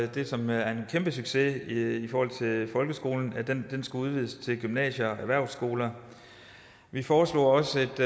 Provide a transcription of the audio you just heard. det som er en kæmpesucces i folkeskolen folkeskolen til gymnasier og erhvervsskoler vi foreslog også et